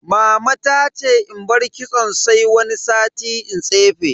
Mama ta ce in bar kitson sai wani sati in tsefe.